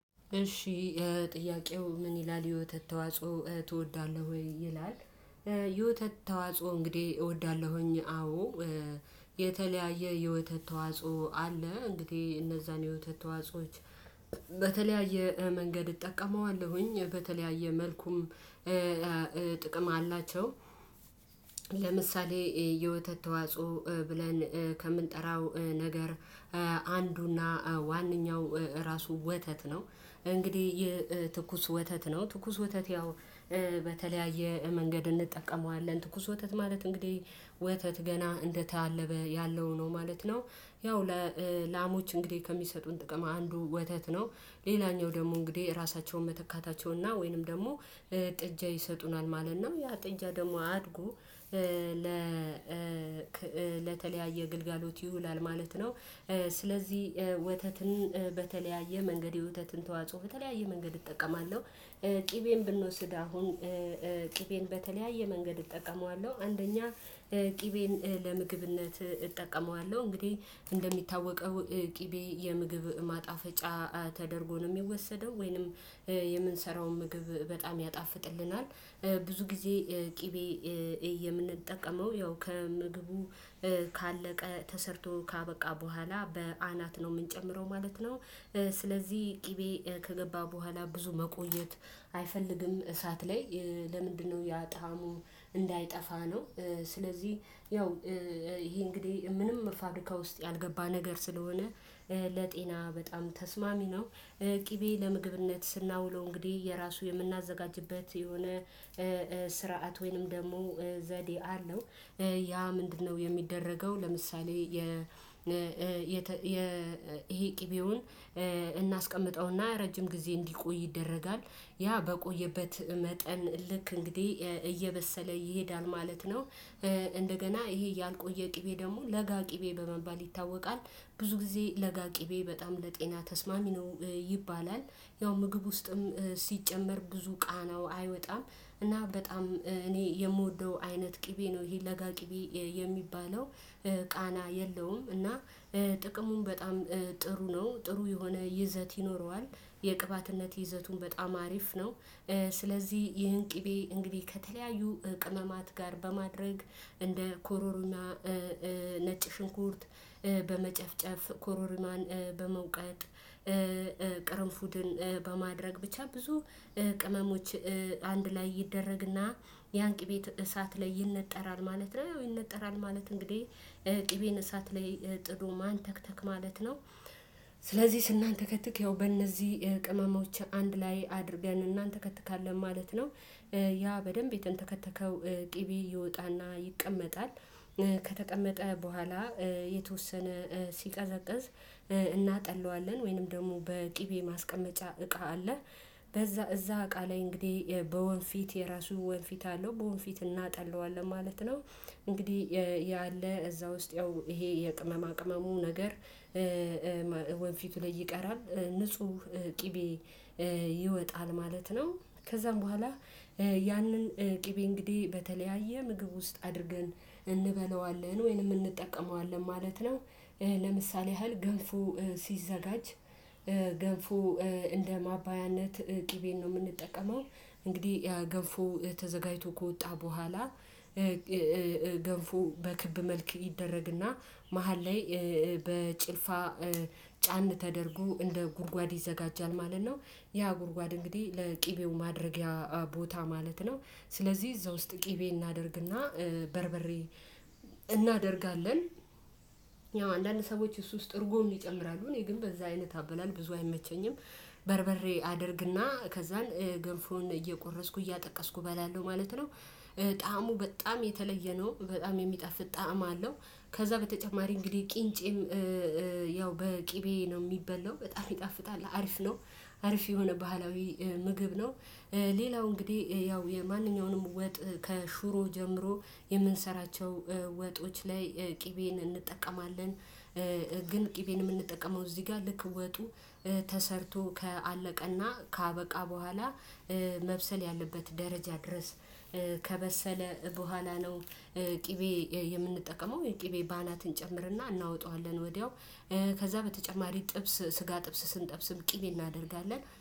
እሺ ጥያቄው ምን ይላል የወተት ተዋጽኦ ትወዳለህ? ወይ ይላል የወተት ተዋጽኦ እንግዲህ እወዳለሁኝ አዎ። የተለያየ የወተት ተዋጽኦ አለ እንግዲህ እነዛን የውተት ተዋጾዎች በተለያየ መንገድ እጠቀመዋለሁኝ በተለያየ መልኩም ጥቅም አላቸው። ለምሳሌ የወተት ተዋጽኦ ብለን ከምንጠራው ነገር አንዱና ዋናው ራሱ ወተት ነው እንግዲህ የትኩስ ወተት ነው ትኩስ ወተት ያው በተለያየ መንገድ እንጠቀመዋለን ትኩስ ወተት ማለት እንግዲህ ወተት ገና እንደተአለበ ያለው ነው ማለት ነው። ያው ለላሞች እንግዲህ ከሚሰጡን ጥቅም አንዱ ወተት ነው። ሌላኛው ደግሞ እንግዲህ ራሳቸውን መተካታቸውና ወይንም ደግሞ ጥጃ ይሰጡናል ማለት ነው። ያ ጥጃ ደግሞ አድጎ ለ ለተለያየ ግልጋሎት ይሁን ማለት ነው። ስለዚህ ወተትን በተለያየ መንገድ የወተትን ተዋጽኦ በተለያየ መንገድ እጠቀማለሁ። ቅቤን ብንወስድ አሁን ቅቤን በተለያየ መንገድ እጠቀመዋለሁ አንደኛ ቅቤን ለምግብነት እጠቀመዋለሁ። እንግዲህ እንደሚታወቀው ቅቤ የምግብ ማጣፈጫ ተደርጎ ነው የሚወሰደው ወይንም የምንሰራውን ምግብ በጣም ያጣፍጥልናል። ብዙ ጊዜ ቅቤ የምንጠቀመው ያው ከምግቡ ካለቀ ተሰርቶ ካበቃ በኋላ በአናት ነው የምንጨምረው ማለት ነው። ስለዚህ ቅቤ ከገባ በኋላ ብዙ መቆየት አይፈልግም። እሳት ላይ ለምንድነው? ያ ጣሙ እንዳይጠፋ ነው። ስለዚህ ያው ይሄ እንግዲህ ምንም ፋብሪካ ውስጥ ያልገባ ነገር ስለሆነ ለጤና በጣም ተስማሚ ነው። ቅቤ ለምግብነት ስናውለው እንግዲህ የራሱ የምናዘጋጅበት የሆነ ስርዓት ወይንም ደግሞ ዘዴ አለው። ያ ምንድነው? የሚደረገው ለምሳሌ የ ይሄ ቅቤውን እናስቀምጠውና ረጅም ጊዜ እንዲቆይ ይደረጋል። ያ በቆየበት መጠን ልክ እንግዲህ እየበሰለ ይሄዳል ማለት ነው። እንደገና ይሄ ያልቆየ ቅቤ ደግሞ ለጋ ቅቤ በመባል ይታወቃል። ብዙ ጊዜ ለጋ ቅቤ በጣም ለጤና ተስማሚ ነው። ይባላል፣ ያው ምግብ ውስጥም ሲጨመር ብዙ ቃናው አይወጣም። እና በጣም እኔ የምወደው አይነት ቅቤ ነው። ይሄ ለጋ ቅቤ የሚባለው ቃና የለውም እና ጥቅሙን በጣም ጥሩ ነው ጥሩ የሆነ ይዘት ይኖረዋል። የቅባትነት ይዘቱን በጣም አሪፍ ነው። ስለዚህ ይህን ቅቤ እንግዲህ ከተለያዩ ቅመማት ጋር በማድረግ እንደ ኮሮሪማ፣ ነጭ ሽንኩርት፣ በመጨፍጨፍ ኮሮሪማን በመውቀጥ ቅርንፉድን በማድረግ ብቻ ብዙ ቅመሞች አንድ ላይ ይደረግና ያንቂ ቤት እሳት ላይ ይነጠራል ማለት ነው። ይነጠራል ማለት እንግዲህ ቅቤን እሳት ላይ ጥዶ ማን ተክተክ ማለት ነው። ስለዚህ ስናንተከትክ ያው በእነዚህ ቅመሞች አንድ ላይ አድርገን እናንተከትካለን ማለት ነው። ያ በደንብ የተንተከተከው ቅቤ ይወጣና ይቀመጣል። ከተቀመጠ በኋላ የተወሰነ ሲቀዘቅዝ እናጠለዋለን ወይንም ደግሞ በቅቤ ማስቀመጫ እቃ አለ በዛ እዛ እቃ ላይ እንግዲህ በወንፊት የራሱ ወንፊት አለው በወንፊት እናጣለዋለን ማለት ነው። እንግዲህ ያለ እዛ ውስጥ ያው ይሄ የቅመማ ቅመሙ ነገር ወንፊቱ ላይ ይቀራል ንጹህ ቅቤ ይወጣል ማለት ነው። ከዛም በኋላ ያንን ቅቤ እንግዲህ በተለያየ ምግብ ውስጥ አድርገን እንበለዋለን ወይንም እንጠቀመዋለን ማለት ነው። ለምሳሌ ያህል ገልፉ ሲዘጋጅ ገንፎ እንደ ማባያነት ጥቤን ነው የምንጠቀመው እንግዲህ ያ ገንፎ ተዘጋጅቶ ከወጣ በኋላ ገንፎ በክብ መልክ ይደረግና መሃል ላይ በጭልፋ ጫን ተደርጎ እንደ ጉድጓድ ይዘጋጃል ማለት ነው። ያ ጉድጓድ እንግዲህ ለቅቤው ማድረጊያ ቦታ ማለት ነው። ስለዚህ እዛ ውስጥ ቅቤ እናደርግና፣ በርበሬ እናደርጋለን ያው አንዳንድ ሰዎች እሱ ውስጥ እርጎም ይጨምራሉ እኔ ግን በዛ አይነት አበላል ብዙ አይመቸኝም። በርበሬ አደርግና ከዛን ገንፎን እየቆረስኩ እያጠቀስኩ እበላለሁ ማለት ነው። ጣዕሙ በጣም የተለየ ነው በጣም የሚጠፍት ጣዕም አለው። ከዛ በተጨማሪ እንግዲህ ቂንጬም ያው በቅቤ ነው የሚበላው በጣም ይጣፍጣል አሪፍ ነው። አሪፍ የሆነ ባህላዊ ምግብ ነው። ሌላው እንግዲህ ያው የማንኛውንም ወጥ ከሹሮ ጀምሮ የምንሰራቸው ወጦች ላይ ቅቤን እንጠቀማለን። ግን ቅቤን የምንጠቀመው እዚህ ጋር ልክ ወጡ ተሰርቶ ከአለቀና ካበቃ በኋላ መብሰል ያለበት ደረጃ ድረስ ከበሰለ በኋላ ነው። ቅቤ የምንጠቀመው የቅቤ በአናት እንጨምርና እናወጣዋለን ወዲያው ከዛ በተጨማሪ ጥብስ ስጋ ጥብስ ስንጠብስም ቅኔ እናደርጋለን